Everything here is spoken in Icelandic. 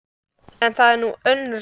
En það er nú önnur saga.